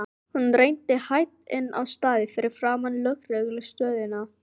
Hún renndi hægt inn á stæðið fyrir framan lögreglu stöðina.